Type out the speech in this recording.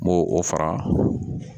N m'o o fara